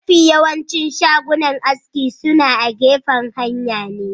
mafi yawancin shagunan aski suna agefan hanya ne